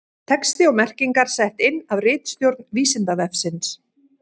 Texti og merkingar sett inn af ritstjórn Vísindavefsins.